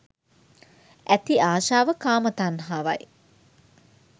ඇති ආශාව කාම තණ්හාවයි.